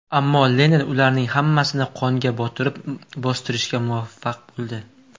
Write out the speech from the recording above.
Ammo Lenin ularning hammasini qonga botirib, bostirishga muvaffaq bo‘ldi.